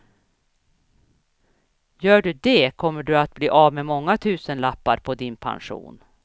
Gör du det kommer du att bli av med många tusenlappar på din pension.